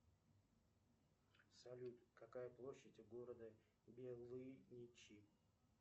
салют какая площадь у города белыничи